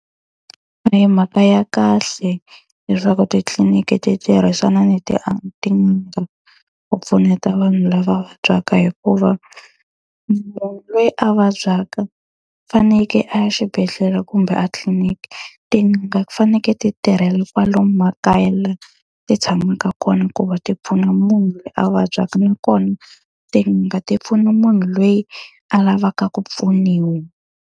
A hi mhaka ya kahle leswaku titliniki ti tirhisana ni tin'anga u pfuneta vanhu lava vabyaka hikuva, munhu loyi a vabyaka fanekele a ya xibedhlele kumbe a tliliniki. Tin'anga ti fanekele ti tirhela kwalomu makaya laha ti tshamaka kona ku va ti pfuna munhu loyi a vabyaka, nakona tin'anga ti pfuna munhu loyi a lavaka ku pfuniwa.